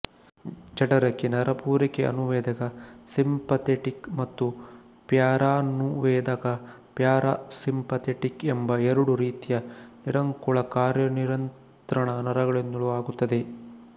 ಜಠರಕ್ಕೆ ನರಪೂರೈಕೆ ಅನುವೇದಕ ಸಿಂಪಥೆಟಿಕ್ ಮತ್ತು ಪ್ಯಾರಾನುವೇದಕ ಪ್ಯಾರಾ ಸಿಂಪಥೆಟಿಕ್ ಎಂಬ ಎರಡು ರೀತಿಯ ನಿರಂಕುಳ ಕಾರ್ಯನಿಯಂತ್ರಣ ನರಗಳಿಂದಲೂ ಆಗುತ್ತದೆ